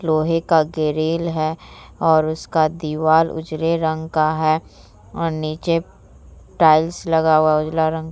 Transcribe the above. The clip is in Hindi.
लोहे का ग्रिल है और उसका दीवार उजरे रंग का है और निचे टाइल्स लगा हुआ उजला रंग --